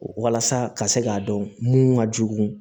Walasa ka se k'a dɔn mun ka jugu